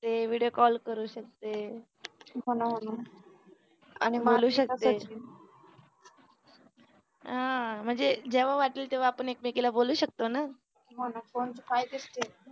ते video call करू शकते आणि बोलू शकते अं म्हणजे जेव वाटल तेवा आपण एकमेकीला बोलू शकतो न